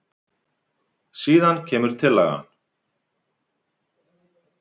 Síðan kemur tillagan.